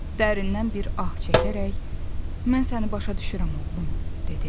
Dərindən bir ah çəkərək, "Mən səni başa düşürəm, oğlum," dedi.